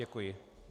Děkuji.